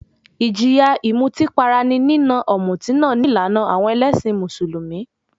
Ìjìyà ìmutípara ní nína ọ̀mùtí náà ní ìlànà àwọn ẹlẹ́sìn Mùsùlùmí.